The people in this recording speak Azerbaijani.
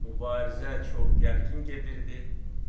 Mübarizə çox gərgin gedirdi.